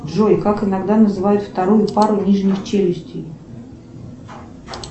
джой как иногда называют вторую пару нижних челюстей